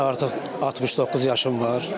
Mənim artıq 69 yaşım var.